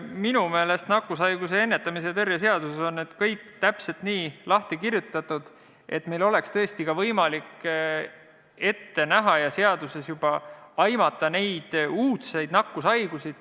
Minu meelest on nakkushaiguste ennetamise ja tõrje seaduses kõik täpselt nii lahti kirjutatud, et meil oleks võimalik ette näha ja seaduses juba aimata neid uudseid nakkushaiguseid.